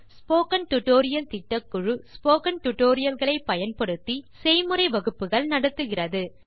spoken tutorial திட்டக்குழு spoken tutorial களை பயன்படுத்தி செய்முறை வகுப்புகள் நடத்துகிறது